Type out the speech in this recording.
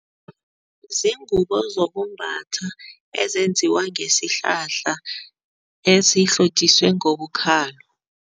Ziingubo zokumbatha ezenziwa ngesihlahla ezihlotjiswe ngobukhalo.